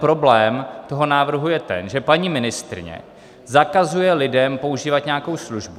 Problém toho návrhu je ten, že paní ministryně zakazuje lidem používat nějakou službu.